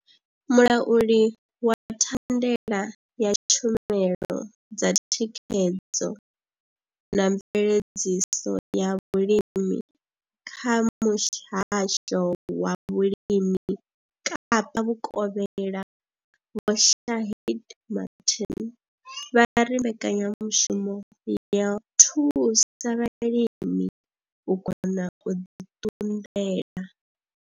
Mulauli wa thandela ya tshumelo dza thikhedzo na mveledziso ya vhulimi kha muhasho wa vhulimi Kapa vhukovhela Vho Shaheed Martin vha ri mbekanyamushumo yo thusa vhalimi u kona u ḓi ṱunḓela.